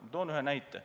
Ma toon ühe näite.